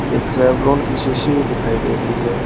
एक सेवलॉन की शीशी भी दिखाई दे रही है।